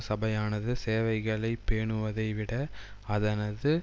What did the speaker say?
சபையானது சேவைகளை பேணுவதை விட அதனது